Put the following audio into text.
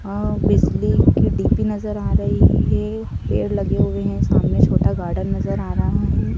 आं बिजली की डी_पी नजर आ रही है पेड़ लगे हुए हैं सामने छोटा गार्डन नजर आ रहा है।